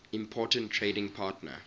important trading partner